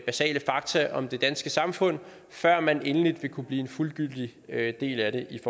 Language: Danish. basale fakta om det danske samfund før man endelig vil kunne blive en fuldgyldig del af det i